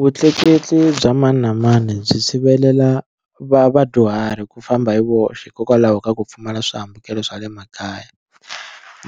Vutleketli bya mani na mani byi sivelela va vadyuhari ku famba hi voxe hikokwalaho ka ku pfumala swihambukelo swa le makaya